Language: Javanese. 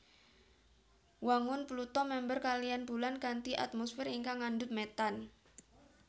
Wangun Pluto mèmper kaliyan Bulan kanthi atmosfer ingkang ngandhut metan